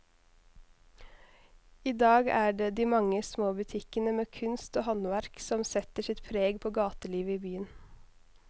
I dag er det de mange små butikkene med kunst og håndverk som setter sitt preg på gatelivet i byen.